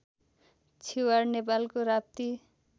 छिवाड नेपालको राप्ती